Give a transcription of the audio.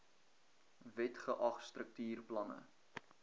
wet geag struktuurplanne